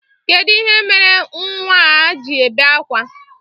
Kedụ ihe mere nnwa a ji ebe akwa?